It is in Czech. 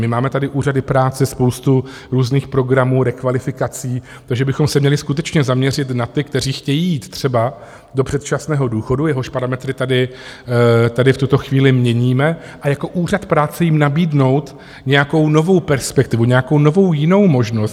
My máme tady úřady práce, spoustu různých programů, rekvalifikací, takže bychom se měli skutečně zaměřit na ty, kteří chtějí jít třeba do předčasného důchodu, jehož parametry tady v tuto chvíli měníme, a jako úřad práce jim nabídnout nějakou novou perspektivu, nějakou novou jinou možnost.